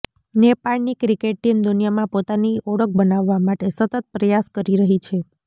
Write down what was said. નેપાળની cricket team દુનિયામાં પોતાની ઓળખ બનાવવા માટે સતત પ્રયાસ કરી રહી છે